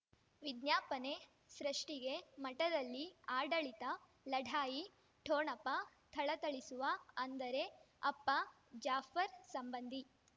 ವಿಜ್ಞಾಪನೆ ಸೃಷ್ಟಿಗೆ ಮಠದಲ್ಲಿ ಆಡಳಿತ ಲಢಾಯಿ ಠೊಣಪ ಥಳಥಳಿಸುವ ಅಂದರೆ ಅಪ್ಪ ಜಾಫರ್ ಸಂಬಂಧಿ